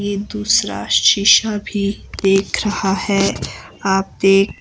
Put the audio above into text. ये दूसरा शीशा भी देख रहा है आप देख--